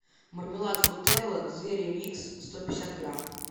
мармелад фрутелла звери микс сто пятьдесят грамм